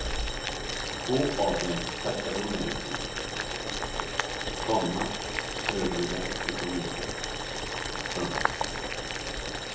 Två av dem tackade hon nej till, komma övriga fick hon inte. punkt